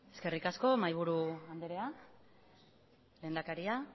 eskerrik asko mahaiburu andrea lehendakaria